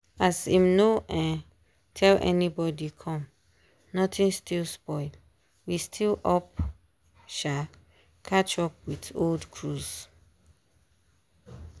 as im no um tell anybody come notin still spoil we still up um catch up with old cruise.